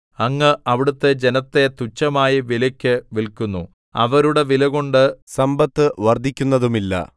അങ്ങ് അവിടുത്തെ ജനത്തെ തുച്ഛമായ വിലയ്ക്ക് വില്ക്കുന്നു അവരുടെ വിലകൊണ്ട് സമ്പത്ത് വർദ്ധിക്കുന്നതുമില്ല